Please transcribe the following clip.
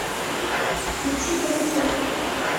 включи твц